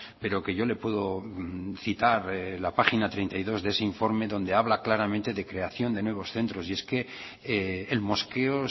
pero que yo le puedo citar la página treinta y dos de ese informe donde habla claramente de creación de nuevos centros y es que el mosqueo